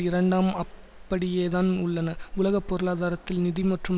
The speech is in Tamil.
இரண்டாம் அப்படியேதான் உள்ளன உலக பொருளாதாரத்தில் நிதி மற்றும்